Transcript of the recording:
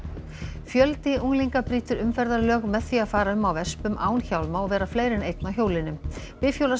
fjöldi unglinga brýtur umferðarlög með því að fara um á án hjálma og vera fleiri en einn á hjólinu